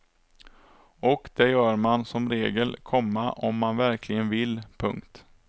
Och det gör man som regel, komma om man verkligen vill. punkt